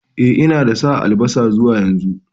E, na dasa albasa zuwa yanzu.